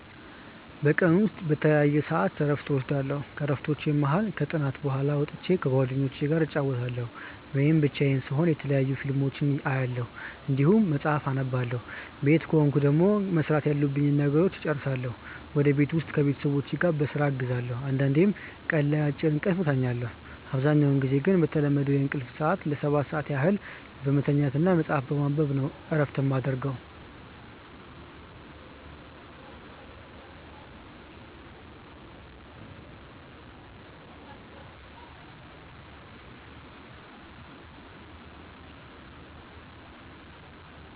በቀን ውስጥ በተለያየ ሰዐት እረፍት እወስዳለሁ። ከእረፍቶቹም መሀል ከጥናት በኋላ ወጥቼ ከጓደኞቹ ጋር እጫወታለሁ ወይም ብቻዬን ስሆን የተለያዩ ፊልሞችን አያለሁ እንዲሁም መጽሐፍ አነባለሁ ቤት ከሆንኩ ደግሞ መስራት ያሉብኝን ነገሮች እጨርሳለሁ ወይም ቤት ውስጥ ቤተሰቦቼን በስራ አግዛለሁ አንዳንዴም ቀን ላይ አጭር እንቅልፍ እተኛለሁ። አብዛኛውን ጊዜ ግን በተለመደው የእንቅልፍ ሰዐት ለ7 ሰዓት ያህል በመተኛት እና መጽሀፍ በማንበብ ነው እረፍት የማረገው።